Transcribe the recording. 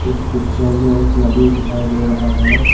इस पिक्चर में एक नदी दिखाई दे रहा है।